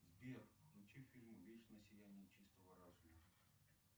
сбер включи фильм вечное сияние чистого разума